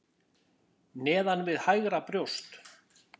Neðan við hægra brjóst.